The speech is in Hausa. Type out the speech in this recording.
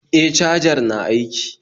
E, cajar na aiki